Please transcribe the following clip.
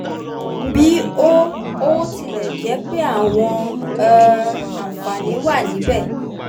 bí ó ó tilẹ̀ jẹ́ pé àwọn um àǹfààní wà níbẹ̀